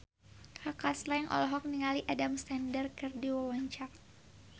Kaka Slank olohok ningali Adam Sandler keur diwawancara